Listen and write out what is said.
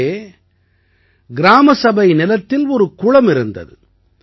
அங்கே கிராம சபை நிலத்தில் ஒரு குளம் இருந்தது